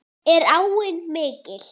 Er áin mikil?